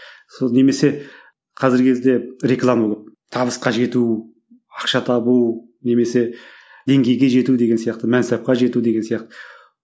сол немесе қазіргі кезде реклама көп табысқа жету ақша табу немесе деңгейге жету деген сияқты мансапқа жету деген сияқты